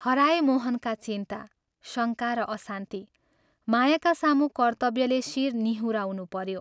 हराए मोहनका चिन्ता, शङ्का र अशान्ति मायाका सामू कर्त्तव्यले शिर निहुराउनु पऱ्यो।